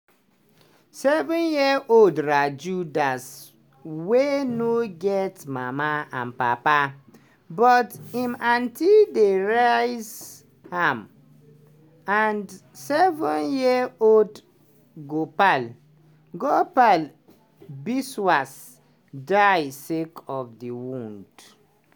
seven-year-old raju das wey no get mama and papa but him aunty dey raise am and seven-year-old gopal gopal biswas die sake of di wound.